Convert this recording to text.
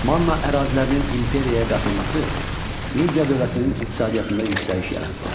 Manna ərazilərinin imperiyaya qatılması Media dövlətinin iqtisadiyyatında yüksəliş yaratdı.